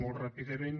molt ràpidament